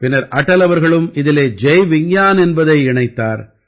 பின்னர் அடல் அவர்களும் இதிலே ஜய் விஞ்ஞான் என்பதனை இணைத்தார்